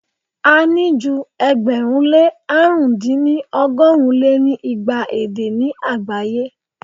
a ní ju ẹgbẹ̀rún lé àrún dín ní ọgọ́rùn lé ní igba èdè ni agbaye.